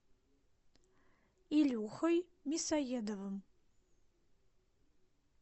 илюхой мясоедовым